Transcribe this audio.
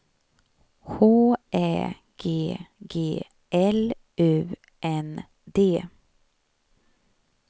H Ä G G L U N D